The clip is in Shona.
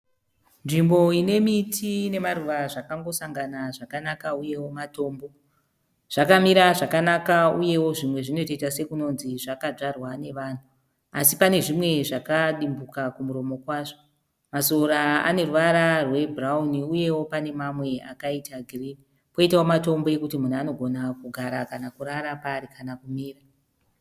Nzvimbo ine miti nemaruva zvakangosangana zvakanaka uyewo matombo. Zvakamira zvakanaka zvinoita sekuti zvakadyarwa nevanhu asi pane zvimwe zvakadimbuka kumuromo kwazvo. Masora ane ruvara rwebhurawuni uyewo mamwe akaita girinhi. Poitawo matombo ekuti munhu anogona kugara paari kana kurara paari kana kumira.